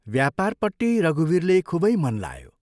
व्यापारपट्टि रघुवीरले खूबै मन लायो।